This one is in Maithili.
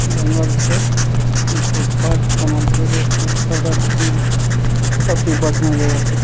जंगल छै दू टा पार्क बनल छै सब चीज़ बढ़िया जगह छै ।